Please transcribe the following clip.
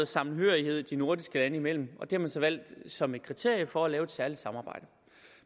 sammenhørighed de nordiske lande imellem og det har man så valgt som et kriterium for at lave et særligt samarbejde